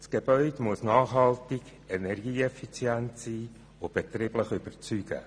Das Gebäude muss nachhaltig und energieeffizient sein und betrieblich überzeugen.